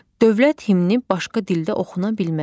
Dövlət himni başqa dildə oxuna bilməz.